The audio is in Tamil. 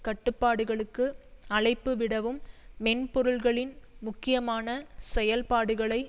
கட்டுப்பாடுகளுக்கு அழைப்புவிடவும் மென்பெருளின் முக்கியமான செயல்பாடுகளை